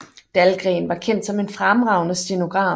Dahlgren var kendt som en fremragende stenograf